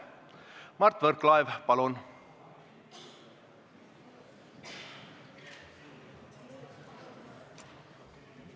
Mart Võrklaev, palun!